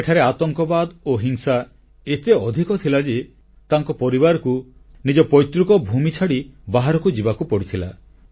ସେଠାରେ ଆତଙ୍କବାଦ ଓ ହିଂସା ଏତେ ଅଧିକ ଥିଲା ଯେ ତାଙ୍କ ପରିବାରକୁ ନିଜ ପୈତୃକ ଭୂମି ଛାଡ଼ି ବାହାରକୁ ଯିବାକୁ ପଡ଼ିଥିଲା